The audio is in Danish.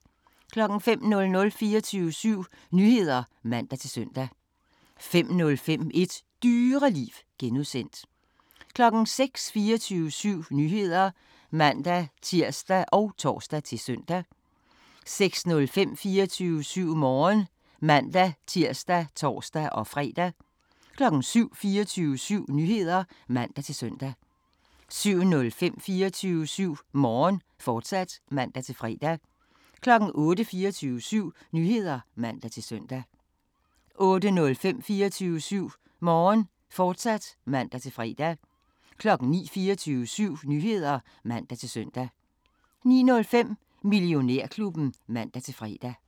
05:00: 24syv Nyheder (man-søn) 05:05: Et Dyreliv (G) 06:00: 24syv Nyheder (man-tir og tor-søn) 06:05: 24syv Morgen (man-tir og tor-fre) 07:00: 24syv Nyheder (man-søn) 07:05: 24syv Morgen, fortsat (man-fre) 08:00: 24syv Nyheder (man-søn) 08:05: 24syv Morgen, fortsat (man-fre) 09:00: 24syv Nyheder (man-søn) 09:05: Millionærklubben (man-fre)